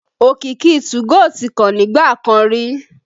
Òkìkí 2go tí kan nígbà kan rí